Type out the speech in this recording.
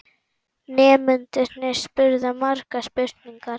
Nemendurnir spurðu margra spurninga.